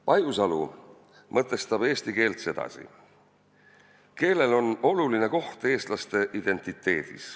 Pajusalu mõtestab eesti keelt sedasi: "Keelel on oluline koht eestlaste identiteedis.